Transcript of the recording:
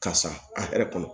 Karisa a hɛrɛ kɔnɔ